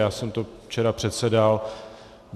Já jsem to včera předsedal.